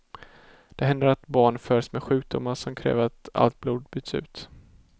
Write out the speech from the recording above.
Det händer att barn föds med sjukdomar som kräver att allt blod byts ut.